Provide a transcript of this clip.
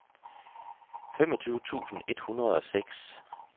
femogtyve tusind et hundrede og seks